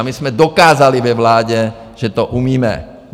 A my jsme dokázali ve vládě, že to umíme.